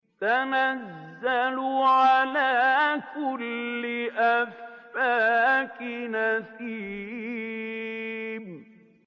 تَنَزَّلُ عَلَىٰ كُلِّ أَفَّاكٍ أَثِيمٍ